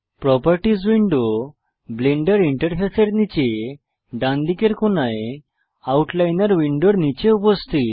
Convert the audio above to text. properties window Blender ইন্টারফেসের নীচে ডানদিকের কোণায় আউটলাইনার উইন্ডোর নীচে উপস্থিত